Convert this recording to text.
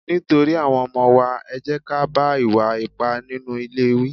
Nítorí àwọn ọmọ wa, ẹ jẹ́ ká bá ìwà ipá nínú ilé wí.